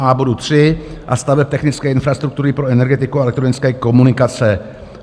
a) bodu 3 a staveb technické infrastruktury pro energetiku a elektronické komunikace".